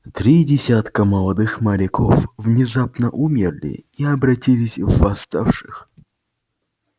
три десятка молодых моряков внезапно умерли и обратились в восставших